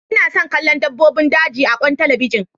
Ina son kallon dabbobin daji a akwain talabijin.